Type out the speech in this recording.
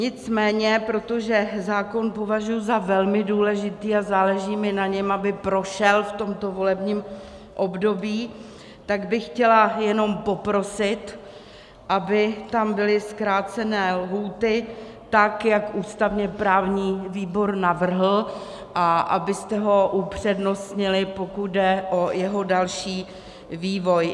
Nicméně protože zákon považuji za velmi důležitý a záleží mi na něm, aby prošel v tomto volebním období, tak bych chtěla jenom poprosit, aby tam byly zkrácené lhůty tak, jak ústavně-právní výbor navrhl, a abyste ho upřednostnili, pokud jde o jeho další vývoj.